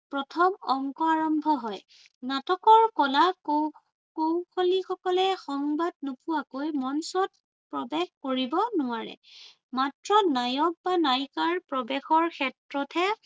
প্ৰথম অংক আৰম্ভ হয়। নাটকৰ কলা কৌশলীসকলে সংবাদ নোপোৱাকৈ মঞ্চত প্ৰবেশ কৰিব নোৱাৰে। মাত্ৰ নায়ক বা নায়িকাৰ প্ৰবেশৰ ক্ষেত্ৰতহে